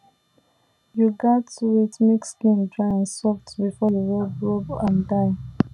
you gatz wait make skin dry and soft before you rub rub am dye